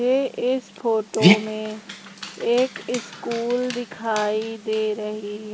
ये इस फोटो में एक ईस्कूल दिखाई दे रही--